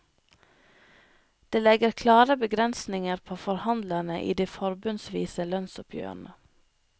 Det legger klare begrensninger på forhandlerne i de forbundsvise lønnsoppgjørene.